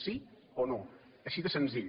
sí o no així de senzill